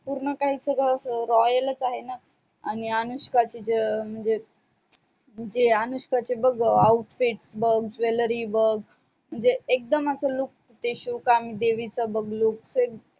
पूर्ण कही सगड अस royal च आहे णा आणि अनुष्काच म्हणजे म्हणजे अनुष्काचे बग outfit बग jewelry बग म्हणजे एकदम अस look सुकांम देवीच बग look तसे